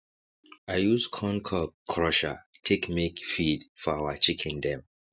i use corn cob crusher take make feed for our chicken dem